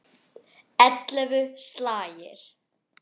Ellefu slagir.